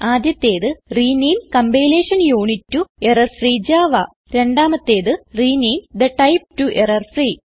ആദ്യത്തേത് rename compilation unit to error free Java രണ്ടാമത്തേത് rename the type to error-free